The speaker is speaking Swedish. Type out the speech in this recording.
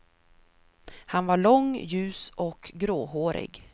Han var lång, ljus och gråhårig.